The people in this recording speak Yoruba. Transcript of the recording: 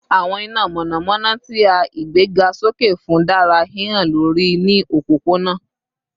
Awọn inomonomono ti a igbegasoke fun dara hihan lori ni opopona